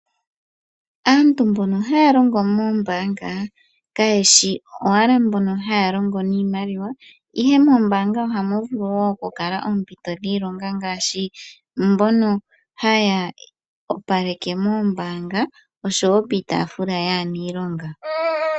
Aantu mbono haya longo moombaanga, kayeshi owala mbono haya longo niimaliwa, ihe moombaanga ohamu vulu wo okukala oompito dhiilonga ngaashi, mbono haya opaleke moombaanga, oshowo piitaafula yaanilonga.